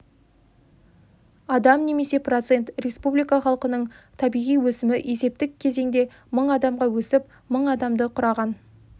адам немесе процент республика халқының табиғи өсімі есептік кезеңде мың адамға өсіп мың адамды құраған